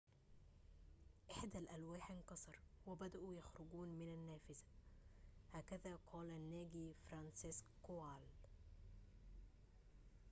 إحدى الألواح انكسر وبدؤوا يخرجون من النافذة هكذا قال الناجي فرانسيسك كوال